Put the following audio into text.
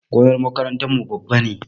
Gonar makarantar mu babba ne